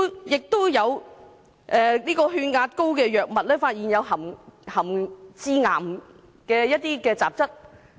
也有治療高血壓的藥物被發現含致癌雜質。